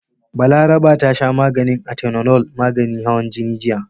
Balaraba ta sha Atenolol maganin hawan jini jiya.